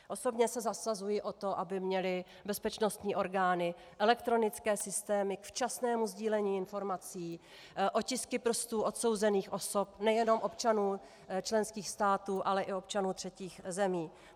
Osobně se zasazuji o to, aby měly bezpečností orgány elektronické systémy k včasnému sdílení informací, otisky prstů odsouzených osob, nejenom občanů členských států, ale i občanů třetích zemí.